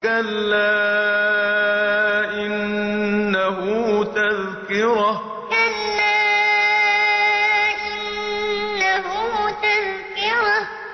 كَلَّا إِنَّهُ تَذْكِرَةٌ كَلَّا إِنَّهُ تَذْكِرَةٌ